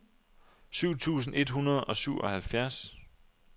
syv tusind et hundrede og syvoghalvfjerds